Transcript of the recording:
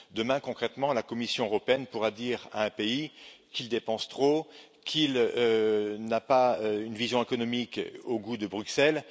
Demain, concrètement, la Commission européenne pourra dire à un pays qu'il dépense trop, qu'il n'a pas une vision économique au goût de Bruxelles.